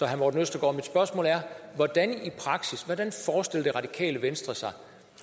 herre morten østergaard er hvordan forestiller det radikale venstre sig